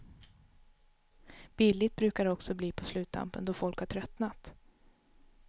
Billigt brukar det också bli på sluttampen, då folk har tröttnat.